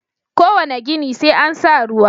Kowane gini sai an sa ruwa.